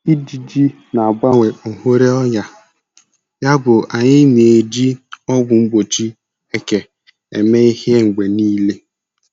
Ijiji na-abawanye ohere ọrịa, yabụ anyị na-eji ọgwụ mgbochi eke eme ihe mgbe niile.